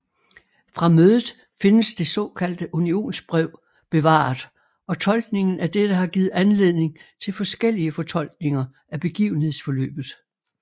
Fra mødet findes det såkaldte unionsbrev bevaret og tolkningen af dette har givet anledning til forskellige fortolkninger af begivenhedsforløbet